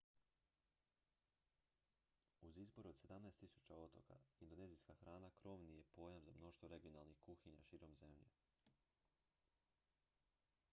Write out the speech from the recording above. uz izbor od 17 000 otoka indonezijska hrana krovni je pojam za mnoštvo regionalnih kuhinja širom zemlje